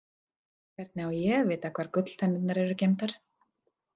Hvernig á ég að vita hvar gulltennurnar eru geymdar?